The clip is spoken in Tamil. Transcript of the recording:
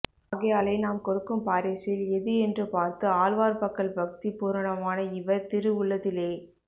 ஆகையாலே நாம் கொடுக்கும் பாரிஸில் எது என்று பார்த்து ஆழ்வார் பக்கல் பக்தி பூரணமான இவர் திரு உள்ளத்திலே